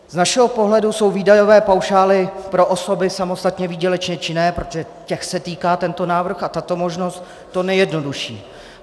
Z našeho pohledu jsou výdajové paušály pro osoby samostatně výdělečně činné, protože těch se týká tento návrh a tato možnost, to nejjednodušší.